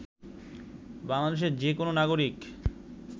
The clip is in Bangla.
বাংলাদেশের যে কোন নাগরিক